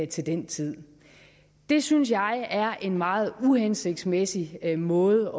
til den tid det synes jeg er en meget uhensigtsmæssig måde